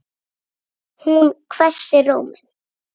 Hún hvessir róminn.